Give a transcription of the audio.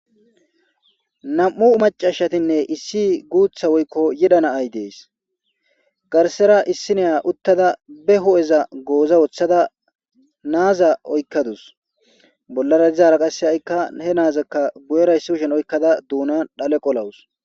nam7u macashatinne issi guutha woykko yeda naay dees garsera issineya uttada be ho7eza gooza woththada naaza oykkadus bollara izaara qasse haikka he naazakka gu7eraysiushen oykkada duunan dhale qolawus